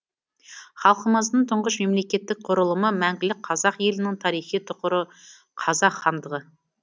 халқымыздың тұңғыш мемлекеттік құрылымы мәңгілік қазақ елінің тарихи тұғыры қазақ хандығы